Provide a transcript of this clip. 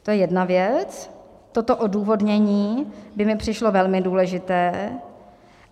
To je jedna věc, toto odůvodnění by mi přišlo velmi důležité.